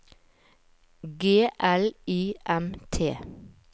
G L I M T